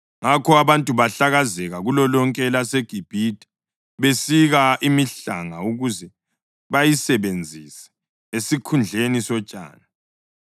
Ngakho abantu bahlakazeka kulolonke elaseGibhithe, besika imihlanga ukuze bayisebenzise esikhundleni sotshani.